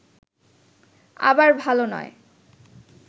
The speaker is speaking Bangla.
আবার ভাল নয়